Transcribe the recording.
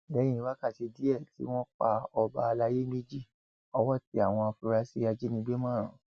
lẹyìn wákàtí díẹ tí wọn pa ọba àlàyé méjì ọwọ tẹ àwọn afurasí ajínigbé márùn